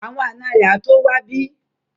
Àwọn ànọ́ rẹ̀ á tó wá bí